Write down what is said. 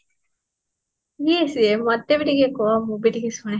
କିଏ ସେ ମତେ ଭି ଟିକେ କୁହ ମୁଁ ଭି ଟିକେ ଶୁଣେ